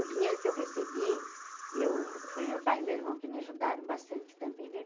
O dinheiro que eu recebi, eu foi meu pai e meu irmão que me ajudaram bastante também né.